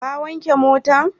Ka wanke motan?